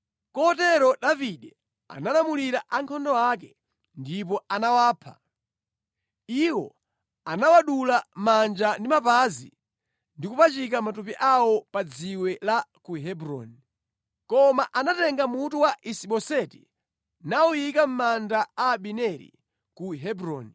Kotero Davide analamulira ankhondo ake, ndipo anawapha. Iwo anawadula manja ndi mapazi ndi kupachika matupi awo pa dziwe la ku Hebroni. Koma anatenga mutu wa Isi-Boseti nawuyika mʼmanda a Abineri ku Hebroni.